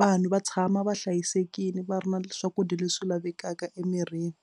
vanhu va tshama va hlayisekile va ri na swakudya leswi lavekaka emirini.